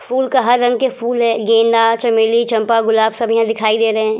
Full का हर रंग के फूल है। गेंदा चमेली चंपा गुलाब सब यहाँ दिखाई दे रहें हैं।